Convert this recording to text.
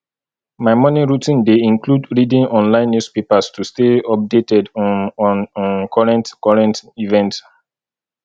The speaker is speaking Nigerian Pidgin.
my morning routine dey include reading online newspapers to stay updated um on um current current events